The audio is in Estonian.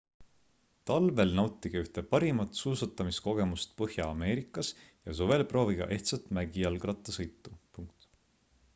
talvel nautige ühte parimat suusatamiskogemust põhja-ameerikas ja suvel proovige ehtsat mägijalgrattasõitu